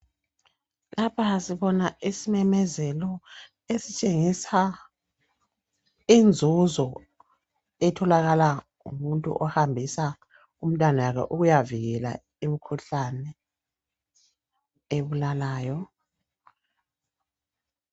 Lapha sibona isimemezelo esitshengisa inzuzo etholakala ngumuntu ohambisa umtanalo ukuyavikela imkhuhlane ebulalayo.